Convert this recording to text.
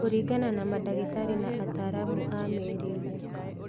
Kũringana na mandagĩtarĩ na ataaramu a mĩrĩĩre